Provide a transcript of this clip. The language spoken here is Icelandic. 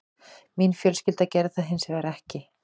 Mín fjölskylda gerði það hins vegar ekki